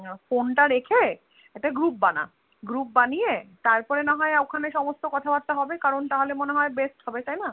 Phone টা রেখে একটা Group বানা Group বানিয়ে তারপরে না হয় ওখানে সমস্ত কথা বার্তা হবে কারণ তাহলে মনে হয় Best হবে তাইনা?